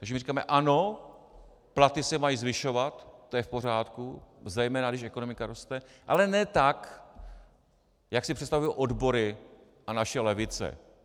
Takže my říkáme: Ano, platy se mají zvyšovat, to je v pořádku, zejména když ekonomika roste, ale ne tak, jak si představují odbory a naše levice.